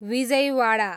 Vijayawada